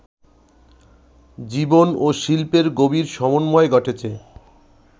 জীবন ও শিল্পের গভীর সমন্বয় ঘটেছে